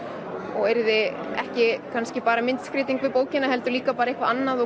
og yrði ekki kannski bara myndskreyting við bókina heldur líka eitthvað annað og